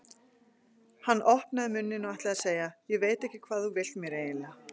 Hann opnaði munninn og ætlaði að segja: Ég veit ekki hvað þú vilt mér eiginlega.